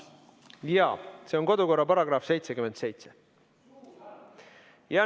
Jaa, see on kodukorra § 77.